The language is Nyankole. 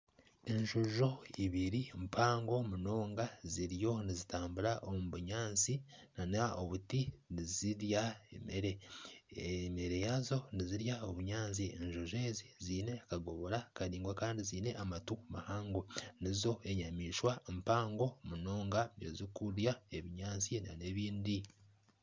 Enjojo ibiri mpango munonga ziriyo nizitambura omu bunyaantsi nana obuti nizirya ebyokurya. Ebyokurya byazo nizirya obunyaantsi . Enjojo ezi, ziine akagobora Karaingwa Kandi ziine amatu mahango nizo enyamaishwa mpango munonga ezirikurya ebinyaantsi n'ebindi.